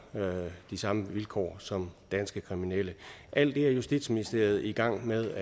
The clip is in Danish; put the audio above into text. de samme vilkår som danske kriminelle alt det er justitsministeriet i gang med